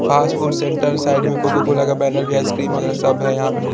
fast food centre side में Coca Cola का banner भी है आइसक्रीम वगैरा सब है यहाँ पे--